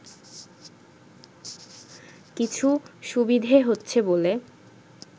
কিছু সুবিধে হচ্ছে বলে